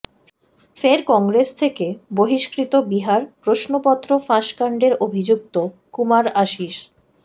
ফের কংগ্রেস থেকে বহিষ্কৃত বিহার প্রশ্নপত্র ফাঁস কাণ্ডের অভিযুক্ত কুমার আশিষ